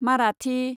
Marathi